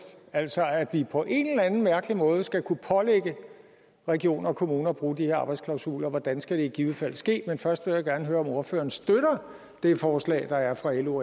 altså at vi på en eller anden mærkelig måde skal kunne pålægge regioner og kommuner at bruge de her arbejdsklausuler hvordan skal det i givet fald ske men først vil jeg gerne høre om ordføreren støtter det forslag der er fra lo